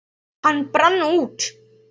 Hann brann út.